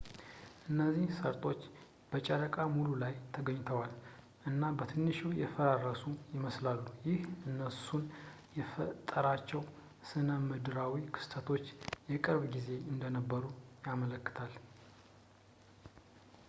እነዚህ ሰርጦች በጨረቃ ሙሉ ላይ ተገኝተዋል እና በትንሹ የፈራረሱ ይመስላሉ ይህ እነሱን የፈጠሯቸው ስነምድራዊ ክስተቶች የቅርብ ጊዜ እንደነበሩ ያመለክታል